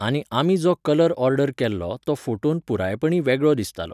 आनी आमी जो कलर ऑर्डर केल्लो तो फोटोन पुरायपणी वेगळो दिसतालो.